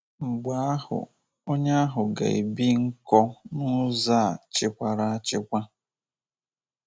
Mgbe ahụ, onye ahụ ga - ebi nkọ n’ụzọ a chịkwara achịkwa.